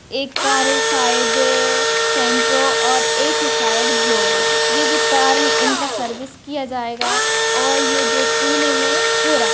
एक कार शायद ये सैंट्रो और एक शायद ब्लोरो ये जो कार हे इसका सर्विस कीया जाएगा और ये जो पुणे मे हो रहा --